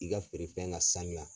I ka feere fɛn ka sanuya.